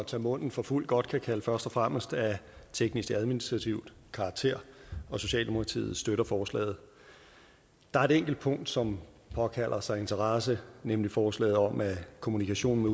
tage munden for fuld godt kan sige først og fremmest af teknisk administrativ karakter og socialdemokratiet støtter forslaget der er et enkelt punkt som påkalder sig vores interesse nemlig forslaget om at kommunikationen